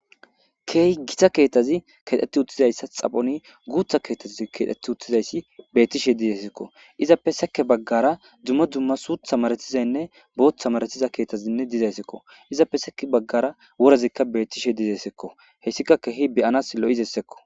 Keey gita keettazi keexxeti uttizayssa xaphoni guutha keetaz keexxeti uttizayssi beettishe dizeessekko izappe seke baggara dumma dumma suutha maretizaynne boothta maretiza keethazinne dizayssekko izappe seke baggara worazikka bettishe dizeesekko hessikakkehi beyanas lo'zessekko.